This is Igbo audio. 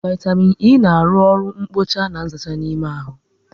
Vaitamịn E na arụ oru nkpocha na nzacha n'ime ahụ